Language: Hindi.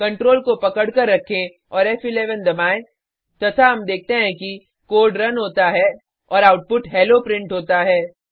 Ctrl को पकड कर रखें और फ़11 दबाएँ तथा हम देखते हैं कि कोड रन होता है और आउटपुट हेलो प्रिंट होता है